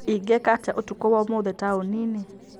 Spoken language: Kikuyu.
Ingĩka atĩa ũtukũ wa ũmũthĩ taũni-inĩ ?